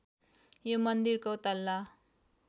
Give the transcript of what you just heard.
यो मन्दिरको तल्ला